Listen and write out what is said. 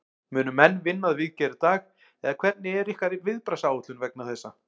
Munu menn vinna að viðgerð í dag eða hvernig er ykkar viðbragðsáætlun vegna þessa?